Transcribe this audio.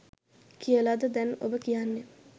කියලද දැන් ඔබ කියන්නේ?